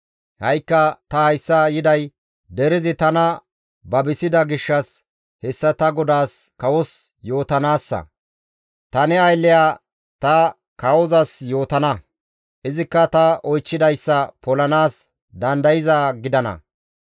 «Ha7ikka ta hayssa yiday derezi tana babisida gishshas hessa ta godaas kawos yootanaassa; ta ne aylleya, ‹Ta kawozas yootana; izikka ta oychchidayssa polanaas dandayzaa gidana.